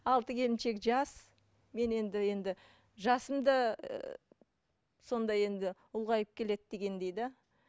алты келіншек жас мен енді енді жасым да ыыы сондай енді ұлғайып келеді дегендей да